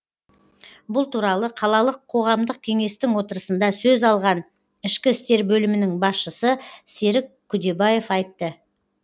бұл туралы қалалық қоғамдық кеңестің отырысында сөз алған ішкі істер бөлімінің басшысы серік күдебаев айтты